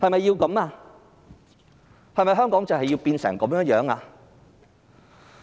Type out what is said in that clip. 然而，香港是否要變成這樣？